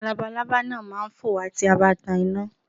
Àwọn labalábá náà má a fò wá tí a bá tan iná